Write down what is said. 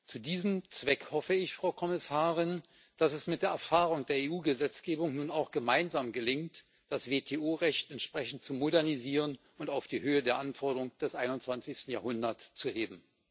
Zu diesem Zweck hoffe ich, Frau Kommissarin, dass es mit der Erfahrung der EU Gesetzgebung nun auch gemeinsam gelingt, das WTO Recht entsprechend zu modernisieren und auf die Höhe der Anforderungen des einundzwanzigsten Jahrhundert zu heben.